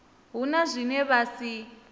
hu na zwine vha si